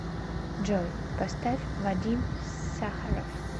джой поставь вадим сахаров